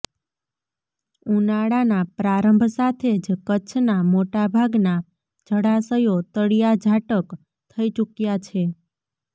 ઉનાળાના પ્રારંભ સાથે જ કચ્છનાં મોટા ભાગનાં જળાશયો તળિયાઝાટક થઈ ચૂક્યાં છે